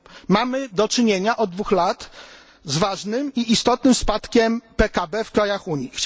Mamy do czynienia od dwóch lat z ważnym i istotnym spadkiem PKB w krajach Unii.